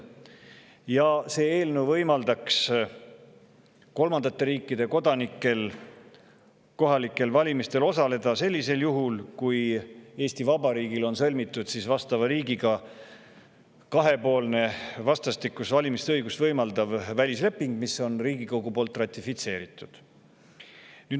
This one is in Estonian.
Ja see eelnõu võimaldaks kolmandate riikide kodanikel kohalikel valimistel osaleda juhul, kui Eesti Vabariigil on sõlmitud vastava riigiga kahepoolne vastastikust valimisõigust võimaldav välisleping, mis on Riigikogu poolt ratifitseeritud.